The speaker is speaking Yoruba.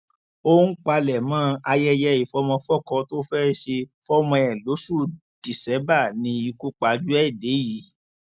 ó ń palẹmọ ayẹyẹ ìfọmọfọkọ tó fẹẹ ṣe fọmọ ẹ lóṣù díṣẹbà ni ikú pajú ẹ dé yìí